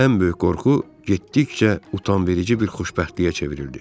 Ən böyük qorxu getdikcə utanverici bir xoşbəxtliyə çevrildi.